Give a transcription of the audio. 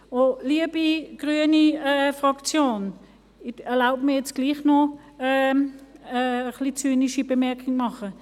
Liebe grüne Fraktion, ich erlaube mir nun gleichwohl noch eine etwas zynische Bemerkung.